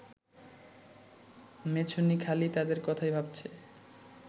মেছুনী খালি তাদের কথাই ভাবছে